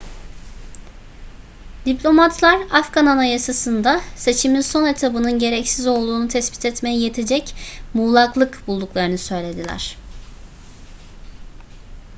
diplomatlar afgan anayasasında seçimin son etabının gereksiz olduğunu tespit etmeye yetecek muğlaklık bulduklarını söylediler